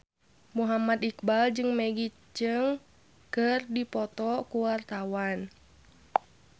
Muhammad Iqbal jeung Maggie Cheung keur dipoto ku wartawan